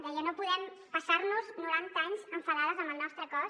deia no podem passar nos noranta anys enfadades amb el nostre cos